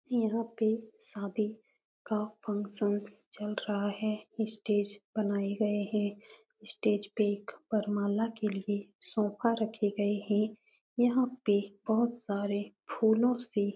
यहाँ पे शादी का फ़ंक्शनस चल रहा है। स्टेज बनाए गए हैं। स्टेज पे एक वरमाला के लिए सोफ़ा रखे गए हैं। यहाँ पे बहुत सारे फूलों से --